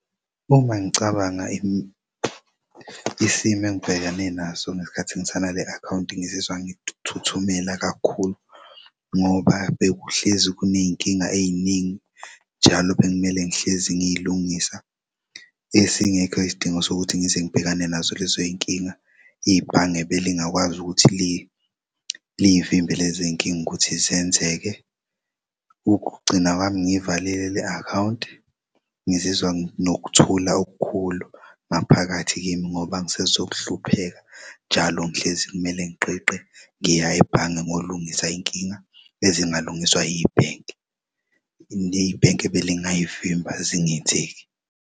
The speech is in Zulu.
Uma ngicabanga isimo engibhekene naso ngesikhathi ngisana le akhawunti ngizizwa ngithuthumela kakhulu ngoba bekuhlezi kuney'nkinga ey'ningi njalo bekumele ngihlezi ngiyilungisa esingekho isidingo sokuthi ngize ngibhekane nazo lezoy'nkinga ibhange belingakwazi ukuthi liy'vimbe lezinkinga ukuthi zenzeke. Ukugcina kwami ngiy'valile le akhawunti ngizizwa nginokuthula okukhulu ngaphakathi kimi ngoba angisezok'hlupheka njalo ngihlezi kumele ngigqigqe ngiya ebhange ngiyolungisa inkinga ezingalungiswa ibhenki, ibhenki ebelingayivimba zingenzeki.